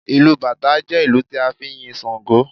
Bàtá drum is dedicated to praising Ṣàngó